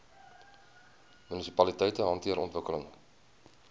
munisipaliteite hanteer ontwikkeling